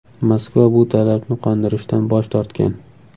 Moskva bu talabni qondirishdan bosh tortgan.